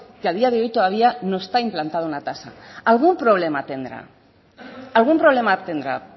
que a día de hoy todavía no está implantado una tasa algún problema tendrá algún problema tendrá